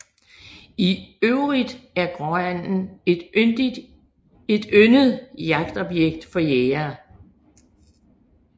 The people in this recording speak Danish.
I øvrigt er gråanden et yndet jagtobjekt for jægere